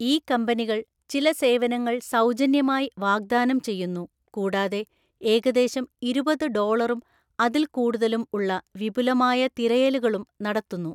ഈ കമ്പനികൾ ചില സേവനങ്ങൾ സൗജന്യമായി വാഗ്ദാനം ചെയ്യുന്നു കൂടാതെ ഏകദേശം ഇരുപത് ഡോളറും അതില്‍ക്കൂടുതലും ഉള്ള വിപുലമായ തിരയലുകളും നടത്തുന്നു.